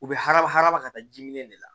U bɛ haraba hadama ka taa jimini de la